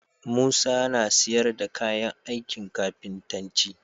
Musa na siyar da kayan ankin kafintanci